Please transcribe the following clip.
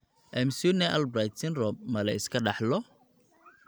McCune Albright syndrome ma la iska dhaxlo?